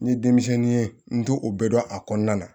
N ye denmisɛnnin ye n t'o o bɛɛ dɔn a kɔnɔna na